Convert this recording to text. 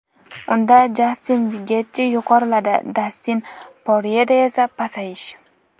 Unda Jastin Getji yuqoriladi, Dastin Poryeda esa pasayish.